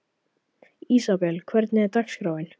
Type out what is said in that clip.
Ísabel, hvernig er dagskráin?